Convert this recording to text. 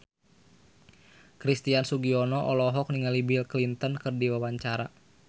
Christian Sugiono olohok ningali Bill Clinton keur diwawancara